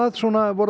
voruð